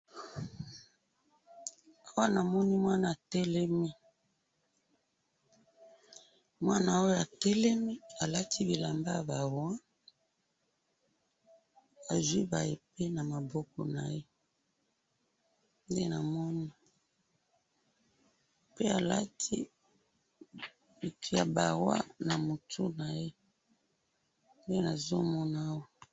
awa na moni mwana a telemi mwana oyo telemi a lati bilamba yaba roi a zui ba epe na maboko naye be a lati ya ba roi na mtu naye